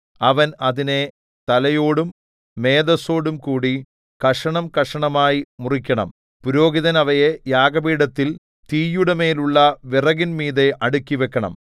അവൻ അതിനെ തലയോടും മേദസ്സോടുംകൂടി കഷണംകഷണമായി മുറിക്കണം പുരോഹിതൻ അവയെ യാഗപീഠത്തിൽ തീയുടെമേലുള്ള വിറകിന്മീതെ അടുക്കിവക്കണം